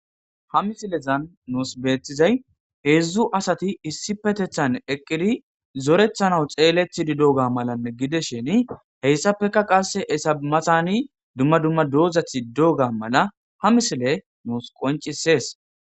Ha missilezan bethizay hezzu assathi issipethethan eqqidi zorethanawu xelethidi deyoga malla gidishin heyssankka qasse Etta mathanni dumma dumma dozathi dogga malla ha missile nussi qoncisess.